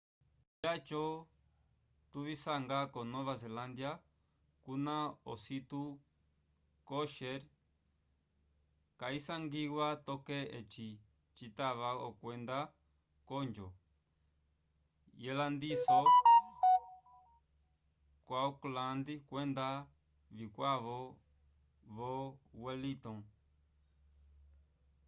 vyaco tuvisanga ko nova zelândia kuna ositu kosher kayisangiwa toke eci citava okwenda k'onjo yelandiso ko auckland kwenda vikwavo vo wellington